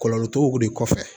Kɔlɔlɔ t'o kun de kɔfɛ